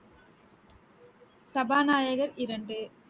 சபாநாயகர் இரண்டு